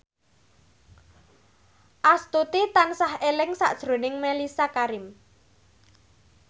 Astuti tansah eling sakjroning Mellisa Karim